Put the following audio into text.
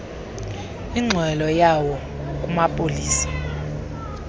ingxelo yawo kumapolisa